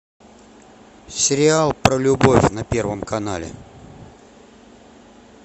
сериал про любовь на первом канале